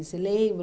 Você lembra?